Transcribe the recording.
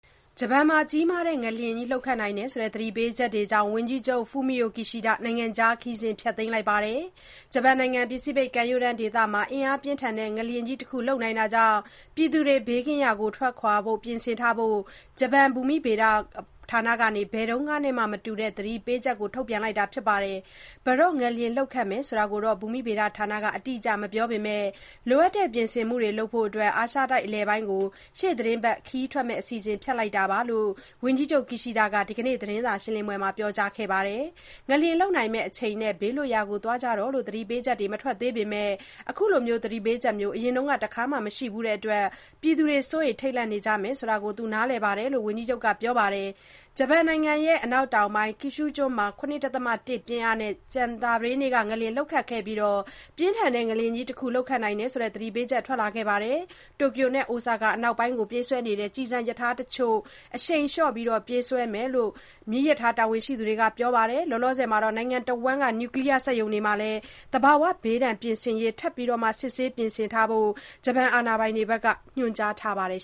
ဂျပန်မှာ ကြီးမားတဲ့ငလျင်လှုပ်နိုင်တယ်ဆိုတဲ့ သတိပေးချက်ကြောင့် ဝန်ကြီးချုပ် Fumio Kishida နိုင်ငံခြား ခရီးစဉ် ဖျက်သိမ်းလိုက်ပါတယ်။ ဂျပန်နိုင်ငံ ပစိဖိတ်ကမ်းရိုးတမ်းဒေသမှာ အင်အားပြင်းထန်တဲ့ ငလျင်ကြီးတခု လှုပ်နိုင်တာကြောင့် ပြည်သူတွေ ဘေးကင်းရာ ထွက်ခွာဖို့ ပြင်ထားဖို့ ဂျပန်ဘူမိဗေဒဌာနက ဘယ်တုန်းကမှနဲ့ မတူတဲ့ သတိပေးမှုထုတ်ပြန်ထားပါတယ်။ ဘယ်တော့ငလျင်လှုပ်ခတ်မယ်ဆိုတာကို ဘူမိဗေဒဌာနက အတိအကျ မပြောပေမဲ့ လိုအပ်တဲ့ ပြင်ဆင်မှုတွေ လုပ်နိုင်ဖို့ အာရှတိုက်အလယ်ပိုင်းကို ရှေ့သီတင်းပတ်ခရီးထွက်မယ့် အစီအစဉ် ဖျက်လိုက်တယ်လို့ ဝန်ကြီးချုပ် Kishida က ဒီနေ့သတင်းစာရှင်းပွဲမှာ ပြောကြားခဲ့ပါတယ်။ ငလျင်လှုပ်နိုင်မယ့်အချိန်နဲ့ ဘေးလွတ်ရာသွားကြဖို့ သတိပေးချက်တွေ မထွက်သေးပေမဲ့ အခုလိုမျိုး သတိပေးချက်မျိုး အရင်တခါမှ မရှိဖူးတဲ့အတွက် ပြည်သူတွေ စိုးရိမ်ထိတ်လန့်နေကြမယ်ဆိုတာ သူ့အနေနဲ့ နားလည်တယ်လို့လည်း ဝန်ကြီးချုပ်က ပြောပါတယ်။ ဂျပန်နိုင်ငံ အနောက်တောင်ပိုင်းက Kyushu ကျွန်းမှာ ၇.၁ ပြင်းအားနဲ့ ကြာသပတေးနေ့က ငလျင် လှုပ်ခတ်ခဲ့ပြီးနောက် ပြင်းထန်တဲ့ငလျင်ကြီးတခု လှုပ်ခတ်နိုင်တယ်ဆိုတဲ့ သတိပေးချက်ထွက်လာခဲ့တာပါ။ Tokyo နဲ့ Osaka အနောက်ပိုင်းကိုပြေးဆွဲတဲ့ ကျည်ဆံရထားတချို့ကို အရှိန်လျှော့ပြေးဆွဲနေတယ်လို့ မီးရထားတာဝန်ရှိသူတွေက ပြောပါတယ်။ သီတင်းတပတ်လောက် သတိထားပြီး အရှိန်လျှော့ပြေးဆွဲမယ်လို့ ပြောထားပါတယ်။ နိုင်ငံတဝန်း Nuclear စက်ရုံတွေမှာလည်း သဘာဝဘေးဒဏ် ပြင်ဆင်ရေးတွေကို ထပ်မံစစ်ဆေးပြင်ဆင်ထားဖို့ အာဏာပိုင်တွေ ညွှန်ကြားထားပါတယ်